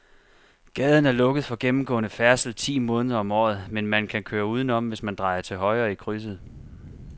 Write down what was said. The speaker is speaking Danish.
Gaden er lukket for gennemgående færdsel ti måneder om året, men man kan køre udenom, hvis man drejer til højre i krydset.